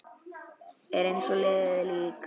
Er eins og liðið lík.